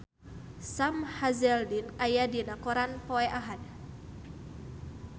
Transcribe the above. Sam Hazeldine aya dina koran poe Ahad